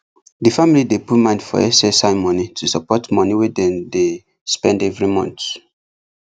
the family dey put mind for ssi money to support money wey dem dey spend every month